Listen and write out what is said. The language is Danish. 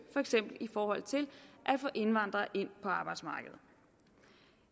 for eksempel i forhold til at få indvandrere ind på arbejdsmarkedet